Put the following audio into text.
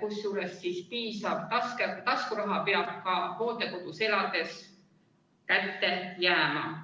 kusjuures piisav taskuraha peab inimesele ka hooldekodus elades kätte jääma.